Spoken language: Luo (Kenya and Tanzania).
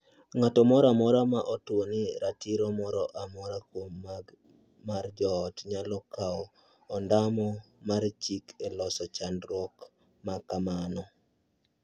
Ng’ato moro amora ma otuon ratiro moro amora kuom magi mar joot nyalo kawo ondamo mar chik e loso chandruok ma kamano.